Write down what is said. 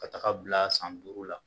Ka taga bila san duuru .